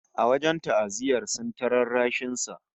A wajen ta'aziyyar, sun yi ta rarrashin sa